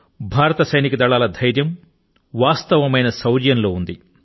భారత సైనిక దళాల ధైర్యం వాస్తవమైన శౌర్యం లో ఉంది